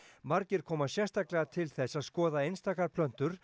margir koma sérstaklega til þess að skoða einstaka plöntur